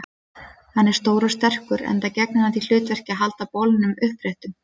Hann er stór og sterkur, enda gegnir hann því hlutverki að halda bolnum uppréttum.